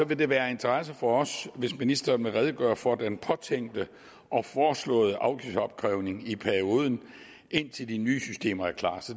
det vil være af interesse for os hvis ministeren vil redegøre for den påtænkte og foreslåede afgiftsopkrævning i perioden indtil de nye systemer er klar